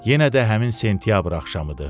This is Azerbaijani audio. Yenə də həmin sentyabr axşamıdır.